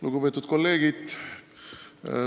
Lugupeetud kolleegid!